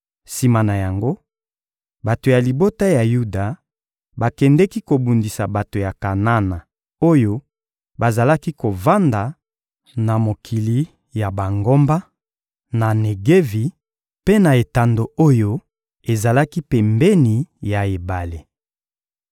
Sima na yango, bato ya libota ya Yuda bakendeki kobundisa bato ya Kanana oyo bazalaki kovanda na mokili ya bangomba, na Negevi, mpe na etando oyo ezalaki pembeni ya ebale.